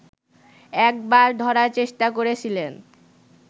একবার ধরার চেষ্টা করেছিলেন